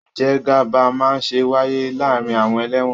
Ìjẹgàba máa ń wáyé láàárín àwọn ẹlẹ́wọ̀n